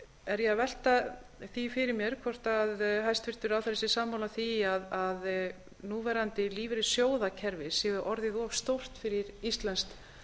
er ég að velta því fyrir mér hvort hæstvirtur ráðherra sé sammála því að núverandi lífeyrissjóðakerfi sé orðið of stórt fyrir íslenskt